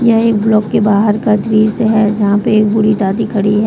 यह एक ब्लॉक के बाहर का दृश्य है जहां पे एक बूढी दादी खड़ी है।